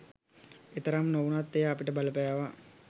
එතරම් නොවුණත් එය අපිට බලපෑවා.